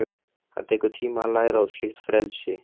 Það tekur tíma að læra á slíkt frelsi.